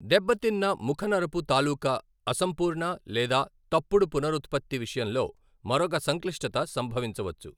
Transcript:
దెబ్బతిన్న ముఖ నరపు తాలుకా అసంపూర్ణ లేదా తప్పుడు పునరుత్పత్తి విషయంలో మరొక సంక్లిష్టత సంభవించవచ్చు.